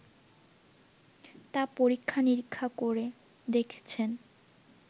তা পরীক্ষা-নিরীক্ষা করে দেখছেন